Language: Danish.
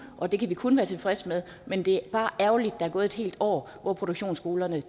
og det kan vi kun være tilfredse med men det er bare ærgerligt at der er gået et helt år hvor produktionsskolerne